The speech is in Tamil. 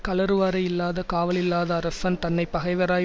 கழறுவாரை யில்லாத காவலில்லாத அரசன் தன்னை பகைவராய்